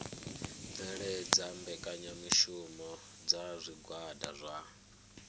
bveledza mbekanyamushumo dza zwigwada zwa